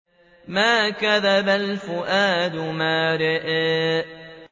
مَا كَذَبَ الْفُؤَادُ مَا رَأَىٰ